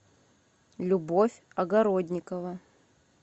любовь огородникова